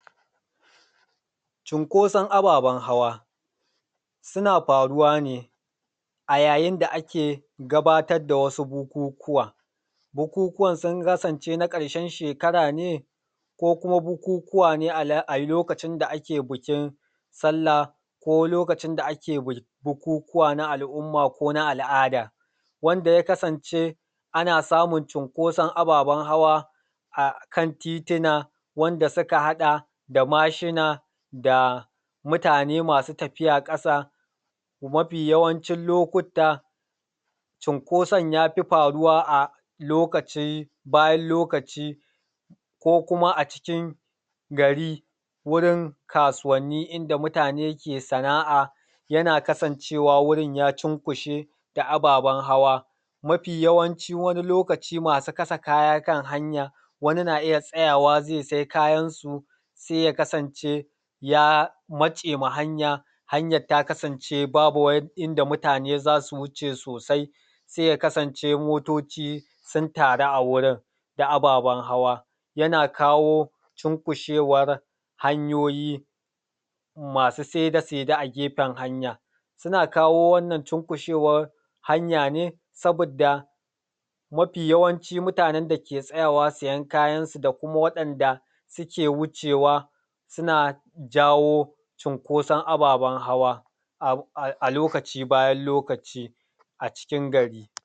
Cunkoson ababen hawa, suna faruwa ne a yayin da ake gabatar da wasu bukukuwa, bukukuwan sun kasance na ƙarshen shekara ne, ko kuma bukukuwa ne a lokacin da ake bikin sallah, ko lokacin da ake bukukuwa na al’umma ko na al’ada, wanda ya kasance ana samun cunkoson ababen hawa akan tituna, wanda suka haɗa da mashina da mutane masu tafiya ƙasa. Mafi yawancin lokuta, cunkoson ya fi faruwa a lokacin, bayan lokaci, ko kuma acikin gari wurin kasuwanni inda mutane ke sana’a, yana kasancewa wurin ya cunkushe da ababen hawa. Mafi yawancin wani lokaci masu kasa kaya kan hanya, wani na iya tsayawa zai sai kayansu, sai ya kasance ya matse ma hanya, hanyat ta kasance babu wani inda mutane za su wuce sosai, sai ya kasance motoci sun taru a wurin da ababen hawa, yana kawo cunkushewan hanyoyi masu saide-saide akan hanya. Suna kawo wannan cunkushewan hanya ne sabidda mafi yawancin mutanen dake tsayawa siyan kayansu da kuma waɗanda suke wucewa, suna jawo cunkoson ababen hawa alokaci bayan lokaci acikin gari.